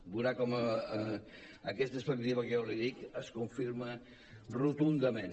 veurà com aquesta perspectiva que jo li dic es confirma rotundament